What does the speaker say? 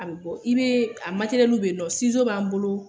A bɛ bɔ i bee a matɛrɛliw be yen nɔ, b'an bolo